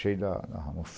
Cheio da